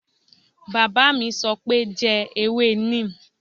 Bàbá mi sọ pé "jẹ ewé neem"